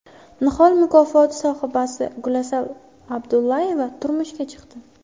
Nihol mukofoti sohibasi Gulasal Abdullayeva turmushga chiqdi .